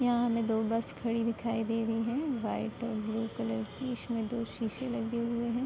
यहाँ हमें दो बस खड़ी दिखाई दे रही हैं व्हाइट और ब्लू कलर की। इशमें दो शीशे लगे हुए हैं।